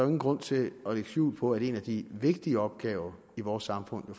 ingen grund til at lægge skjul på at en af de vigtige opgaver i vores samfund